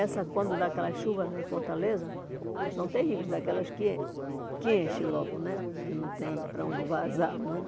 E quando dá aquelas chuvas lá em Fortaleza, são terríveis, daquelas que en que enchem logo né, que não tem para onde vazar muito.